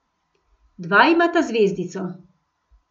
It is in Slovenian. Dva imata zvezdico.